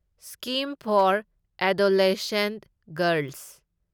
scheme for adolescent girls